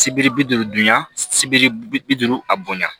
Sibiri bi duuru dun sibiri bi duuru a bonya